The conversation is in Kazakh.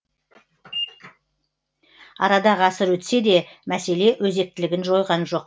арада ғасыр өтсе де мәселе өзектілігін жойған жоқ